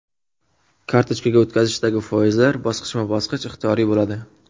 Kartochkaga o‘tkazishdagi foizlar bosqichma-bosqich ixtiyoriy bo‘ladi.